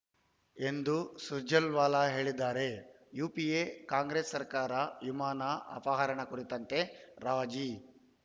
ಎಂದೂ ಸುರ್ಜೆವಾಲ ಹೇಳಿದ್ದಾರೆ UPA Congress ಸರ್ಕಾರ ವಿಮಾನ ಅಪಹರಣ ಕುರಿತಂತೆ ರಾಜಿ